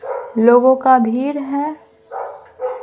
लोगों का भीर है ।